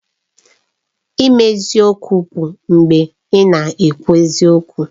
Ime eziokwu bụ mgbe ị na-ekwu eziokwu